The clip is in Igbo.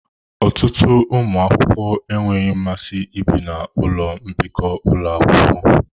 Ọtụtụ ụmụ akwụkwọ enweghị mmasị ibi na ụlọ mbikọ ụlọ akwụkwọ.